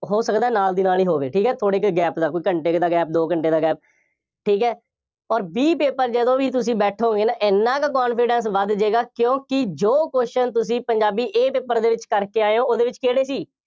ਹੋ ਸਕਦਾ ਨਾਲ ਦੀ ਨਾਲ ਹੀ ਹੋਵੇ, ਠੀਕ ਹੈ, ਥੋੜ੍ਹੇ ਕਿ gap ਦਾ, ਕੋਈ ਘੰਟੇ ਕੁ ਦਾ gap, ਦੋ ਘੰਟੇ ਦਾ gap ਠੀਕ ਹੈ, ਅੋਰ B paper ਜਦੋਂ ਵੀ ਤੁਸੀਂ ਬੈਠੋਗੇ ਨਾ, ਐਨਾ ਕੁ confidence ਵੱਧ ਜਾਏਗਾ, ਕਿਉਂਕਿ ਜੋ question ਤੁਸੀਂ ਪੰਜਾਬੀ A ਦੇ ਵਿੱਚ ਕਰਕੇ ਆਏ ਹੋ, ਉਹਦੇ ਵਿੱਚ ਕਿਹੜੇ ਸੀ।